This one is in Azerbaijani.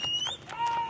Bravo!